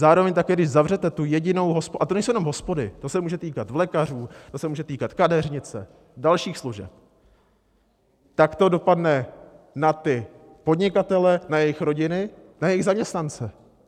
Zároveň také když zavřete tu jedinou hospodu - a to nejsou jenom hospody, to se může týkat vlekařů, to se může týkat kadeřnice, dalších služeb - tak to dopadne na ty podnikatele, na jejich rodiny, na jejich zaměstnance.